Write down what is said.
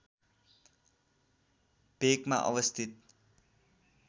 भेकमा अवस्थित